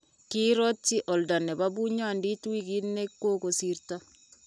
kiirotyi oldo nebo bunyondit wikit ne kukosirto.